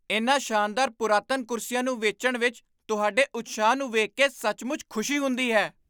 ਇਨ੍ਹਾਂ ਸ਼ਾਨਦਾਰ ਪੁਰਾਤਨ ਕੁਰਸੀਆਂ ਨੂੰ ਵੇਚਣ ਵਿੱਚ ਤੁਹਾਡੇ ਉਤਸ਼ਾਹ ਨੂੰ ਵੇਖ ਕੇ ਸੱਚਮੁੱਚ ਖੁਸ਼ੀ ਹੁੰਦੀ ਹੈ।